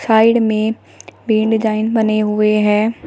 Side में पे design बने हुए हैं।